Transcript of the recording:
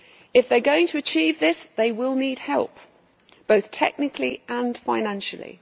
If they are going to achieve this, they will need help, both technically and financially.